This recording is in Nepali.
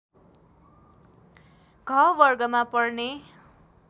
घ वर्गमा पर्ने